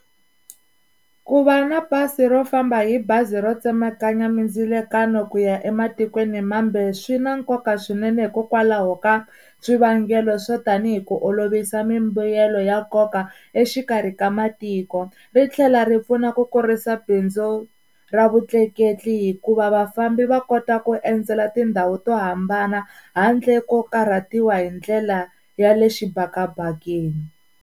Ku va na pasi ro famba hi bazi ro tsemakanya mindzilekanyo ku ya ematikweni mambe swi na nkoka swinene hikokwalaho ka swivangelo swo tanihi ku olovisa mimbuyelo ya nkoka exikarhi ka matiko ri tlhela ri pfuna ku kurisa bindzu ra vutleketli hikuva vafambi va kota ku endzela tindhawu to hambana handle ko karhatiwa hi ndlela ya le xibakabakeni.